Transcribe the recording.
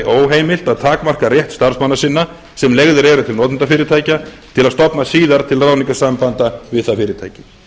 óheimilt að takmarka rétt starfsmanna sinna sem leigðir eru til notendafyrirtækja til að stofna síðar til ráðningarsambanda við það fyrirtæki